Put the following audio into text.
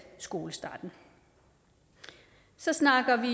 skolestarten så snakker vi